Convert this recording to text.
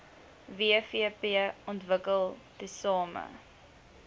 wvp ontwikkel tesame